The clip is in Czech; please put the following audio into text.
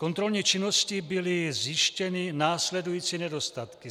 Kontrolní činností byly zjištěny následující nedostatky: